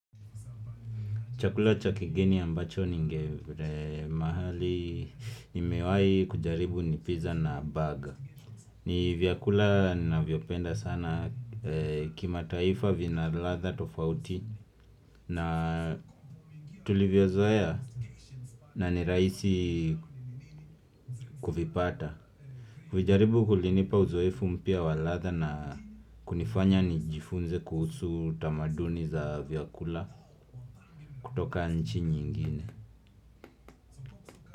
Chakula cha kigeni ambacho ninge mahali, nimewahi kujaribu ni pizza na burger. Ni vyakula ninavyopenda sana kimataifa vina ladha tofauti na tulivyozoea na nirahisi kuvipata. Kuvijaribu kulinipa uzoefu mpya wa ladha na kunifanya nijifunze kuhusu tamaduni za vyakula kutoka nchi nyingine.